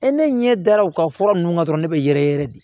ne ɲɛ dara u ka fura ninnu kan dɔrɔn ne bɛ yɛrɛ yɛrɛ yɛrɛ de